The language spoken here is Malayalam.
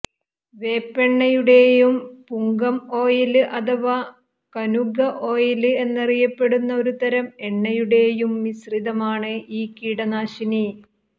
വേപ്പെണ്ണയുടെയും പുങ്കം ഓയില് അഥവാ കനുഗ ഓയില് എന്നറിയപ്പെടുന്ന ഒരുതരം എണ്ണയുടെയും മിശ്രിതമാണ് ഈ കീടനാശിനി